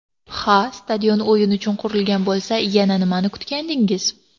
Ha, stadion o‘yin uchun qurilgan bo‘lsa, yana nimani kutgandingiz?